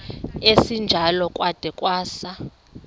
esinjalo kwada kwasa